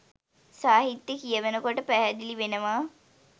සාහිත්‍යය කියවනකොට පැහැදිලි වෙනවා.